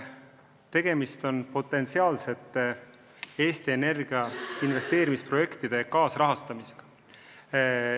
Tegemist on Eesti Energia potentsiaalsete investeerimisprojektide kaasrahastamisega.